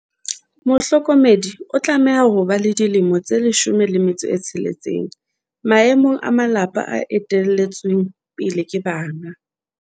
Mohlokomedi o tlameha ho ba le dilemo tse 16, maemong a malapa a ete lletsweng pele ke bana.